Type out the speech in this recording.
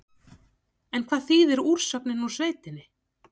En hvað þýðir úrsögnin úr sveitinni?